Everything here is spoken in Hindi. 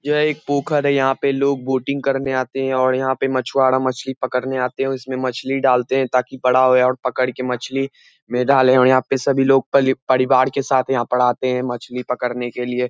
यह एक पोखर है यहाँ पे लोग बोटिंग करने आते हैं और यहाँ पे मछुआरा मछली पकड़ने आते है और इसमें मछली डालते हैं ताकि बड़ा होए और पकड़ के मछली मे डाले और यहाँ पे सभी लोग पली परिवार के साथ यहाँ पे आते हैं मछली पकड़ने के लिए।